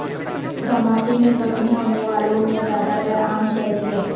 دھماکے میں زخمی ہونے والوں میں زیادہ تر عام شہری ہیں